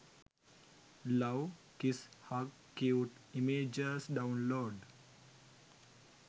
love kiss hug cute images download